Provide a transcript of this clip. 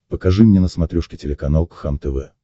покажи мне на смотрешке телеканал кхлм тв